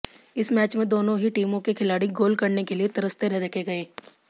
इस मैच में दोनों ही टीमों के खिलाड़ी गोल करने के लिए तरसते देखे गए